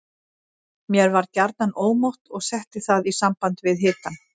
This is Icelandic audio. Mér var gjarnan ómótt og setti það í samband við hitann.